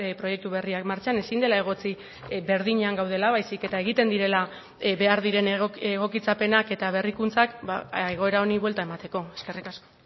proiektu berriak martxan ezin dela egotzi berdinean gaudela baizik eta egiten direla behar diren egokitzapenak eta berrikuntzak egoera honi buelta emateko eskerrik asko